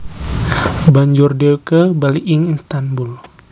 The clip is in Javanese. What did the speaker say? Banjur dewke bali ing Istanbul